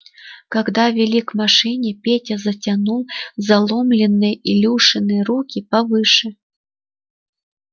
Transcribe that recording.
когда вели к машине петя затянул заломленные илюшины руки повыше